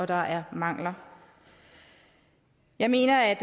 der er mangler jeg mener at